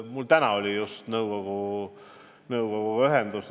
Mul just täna oli nõukoguga ühendus.